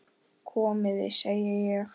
Komiði, segi ég!